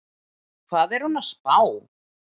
Hvað er hún að spá?